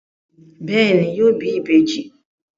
Bẹẹni, yóò bí ìbejì